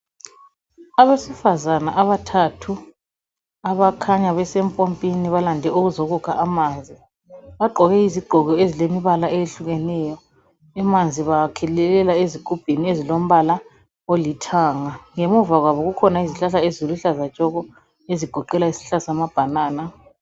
Abesifazana abathathu, abakhanya besempompini balande ukuzokukha amanzi, bagqoke izigqoko ezilemibala eyehlukeneyo. Amanzi bawakhelelela ezigubhini ezilombala olithanga. Ngemuva kwabo kukhona izihlahla eziluhlaza tshoko, ezigoqela isihlahla sama banana